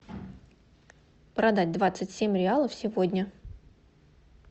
продать двадцать семь реалов сегодня